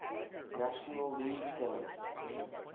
national league pennant